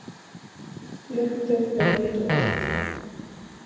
Lyktin er út um allt.